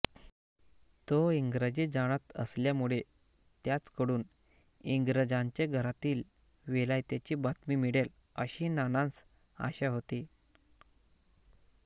तो इंग्रजी जाणत असल्यामुळे त्याचकडून इंग्रजांचे घरातील विलायतेची बातमी मिळेल असी नानांस आशा होती